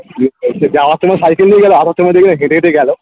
ওই যে যাওয়ার সময় cycel নিয়ে গেলো আসার সময় দেখবে হেঁটে হেঁটে গেলো